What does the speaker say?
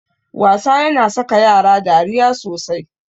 Wasa yana saka yara dariya sosai.